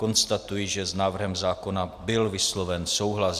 Konstatuji, že s návrhem zákona byl vysloven souhlas.